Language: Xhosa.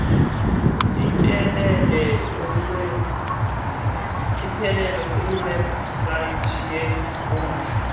utyelele iwebsite yeenkundla